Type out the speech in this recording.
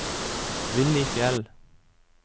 Willy Fjeld